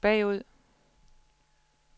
bagud